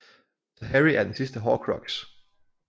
Så Harry er den sidste horcrux